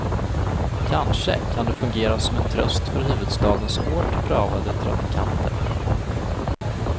Kanske kan det fungera som en tröst för huvudstadens hårt prövade trafikanter.